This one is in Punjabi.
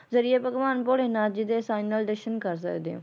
ਜ਼ਰੀਏ ਭਗਵਾਨ ਭੋਲੇ ਨਾਥ ਜੀ ਦੇ sinaldetion ਕਰ ਸਕਦੇ ਹੋ